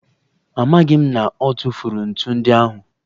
Amaghị m na ọ tụfuru ntu ndị ahụ.